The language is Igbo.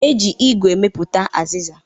E ji igu emepụta azịza